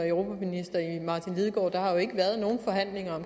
og der har jo ikke været nogen forhandlinger om